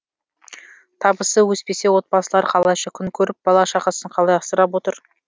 табысы өспесе отбасылар қалайша күн көріп бала шағасын қалай асырап отыр